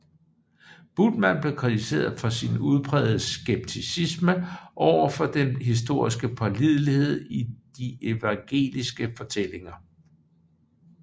Bultmann blev kritiseret for sin udprægede skepticisme over for den historiske pålidelighed i de evangeliske fortællinger